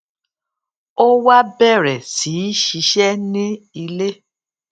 ó wá bèrè sí í ṣiṣé ní ilé